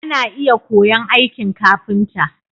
Ana iya koya'n aikin ƙafinta.